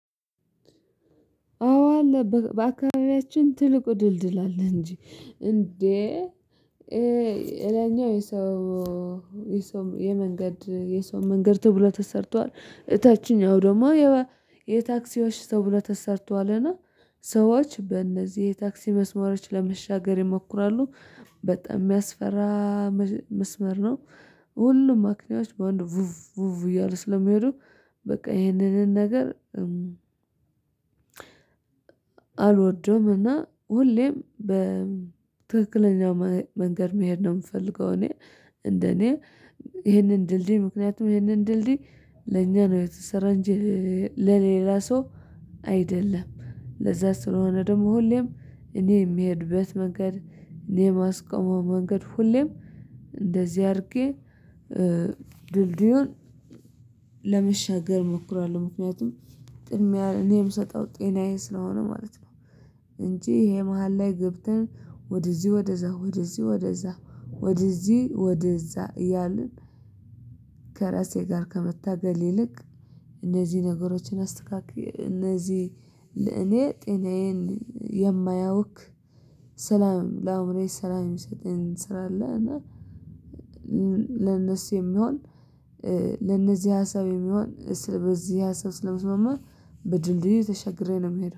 አዎ አለ በአካባቢያችን ትልቁ ድልድል አለ እንጂ እንዴ የላይኛው የሰው የሰው የመንገድ የሰው መንገድ ተብሎ ተሰርቷል። እታችኛው ደግሞ የታክሲዎች ተብሎ ተሰርቷልና ሰዎች በእነዚህ የታክሲ መስመሮች ለመሻገር ይሞክራሉ በጣም የሚያስፈራ መስመር ነው። ሁሉም መኪናዎች በአንድ ቭፍ ቭፍ እያልኩ ስለሚሄዱ በቃ ይሄንንን ነገር አልወደውም እና ሁሌም በትክክለኛ መንገድ መሄድ ነው የምፈልገው። እኔ እንደኔ ይሄንን ድልድይ ምክንያቱም ይሄንን ድልድይ ለኛ ነው የተሰራ እንጂ ለሌላ ሰው አይደለም። ለዛ ስለሆነ ደግሞ ሁሌም እኔ የምሄድበት መንገድ እኔ የማስቆመው መንገድ ሁሌም እንደዚህ አድርጌ ድልድዩን ለመሸጋር እሞክራለሁ። ምክንያቱም ቅድሚያ እኔ ምሰጠው ጤናዬ ስለሆነ ማለት ነው። እንጂ ይሄ መሃል ላይ ገብተን ወደዚህ ወደዛ ወደዚህ ወደዛ ወደዚህ ወደዛ እያልን ከራሴ ጋር ከመታገል ይልቅ እነዚህ ነገሮችን አስተካክለህ እነዚህ እኔ ጤናዬን የማያውክ ሰላም ለአዕምሮዬ ሰላም የሚሰጥኝ ስራ አለ። እና ለነሱ የሚሆን ለነዚህ ሀሳብ የሚሆን በዚህ ሀሳብ ስለመስማማ በድልድዩ ተሸግሬ ነው የምሄደው